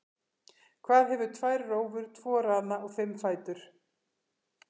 Hvað hefur tvær rófur, tvo rana og fimm fætur?